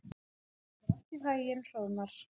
Gangi þér allt í haginn, Hróðmar.